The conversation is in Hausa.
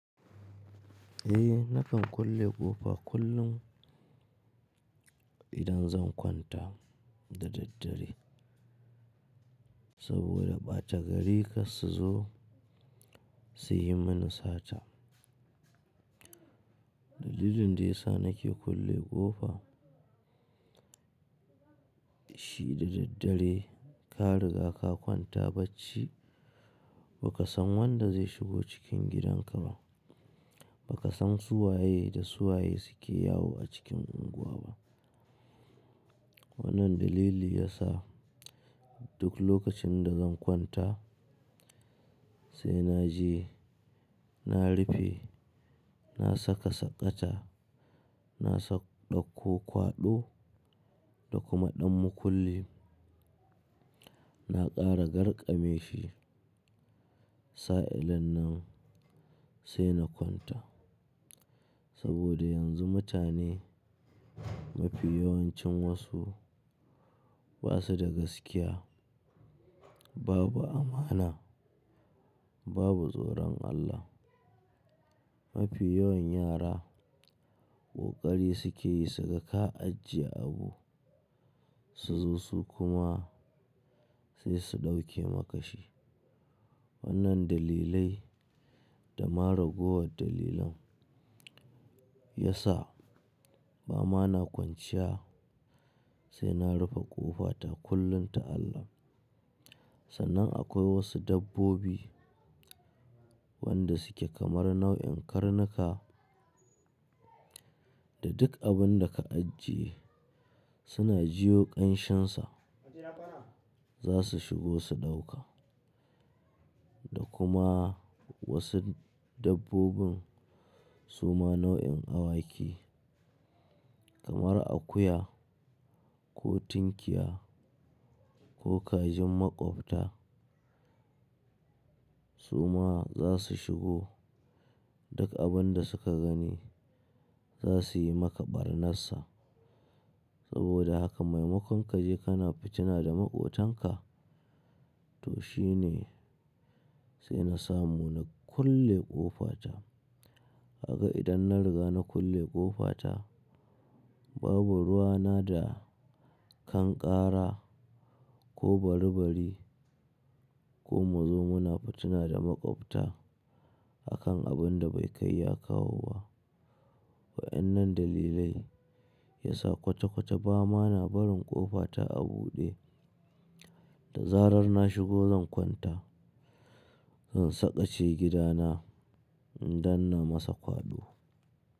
Eh nakan kulle ƙofa kullum idan zan kwanta da daddare saboda ɓata gari kar su zo su yi mani sata. Dalilin da ya sa nake kulle ƙofa shi da daddare ka riga ka kwanta bacci ba ka san wanda zai shigo cikin gidan ka ba, ba ka san su waye da su waye suke yawo a cikin unguwa ba. Wannan dalili ya sa duk lokacin da zan kwanta sai na je na rufe, na saka saƙata, na ɗauko kwaɗo da kuma ɗan makulli, na ƙara garkame shi. Sa'an nan sai na kwanta saboda yanzu mutane mafi yawancin wasu ba su da gaskiya, babu amana, babu tsoron Allah. Mafi yawan yara ƙoƙari suke yi suga ka ajiye abu su zo su kuma sai su ɗauke maka shi. Wannan dalilai da mara gowar dalilin ya sa ba ma na kwanciya sai na rufe ƙofa ta kullum ta Allah. Sannan akwai wasu dabbobi wanda suke kamar nau'in karnuka da duk abin da ka ajiye suna jiyo ƙanshin sa za su shigo su ɗauka. Da kuma wasu dabbobin su ma nau'in awaki kamar akuya ko tinkiya ko kajin maƙwabta su ma za su shigo duk abin da suka gani za su yi maka barnarsa. Saboda haka maimakon ka je ka na fitina da maƙotanka to shi ne sai na samu na kulle ƙofa ta. Haka idan na riga na kulle ƙofa ta babu ruwa na da kai ƙara ko bari bari ko mu zo mu na fitina da maƙwabta a kan abin da bai kai ya kawo ba. Wa'ennan dalilai ya sa kwata kwata ba ma na barin ƙofa ta a buɗe da zarar na shigo zan kwanta, zan saƙace gidana idan na masa kwaɗo.